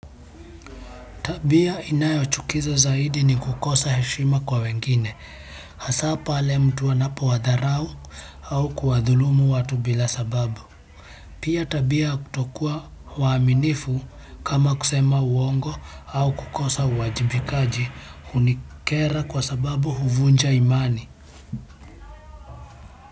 Tabia inayochukiza zaidi ni kukosa heshima kwa wengine. Hasa pale mtu anapowadharau au kuwadhulumu watu bila sababu. Pia tabia ya kutokuwa waaminifu kama kusema uongo au kukosa uwajibikaji hunikera kwa sababu huvunja imani.